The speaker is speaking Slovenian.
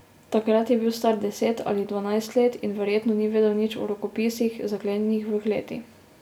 Takrat je bil star deset ali dvanajst let in verjetno ni vedel nič o rokopisih, zaklenjenih v kleti.